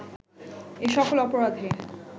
এ সকল অপরাধে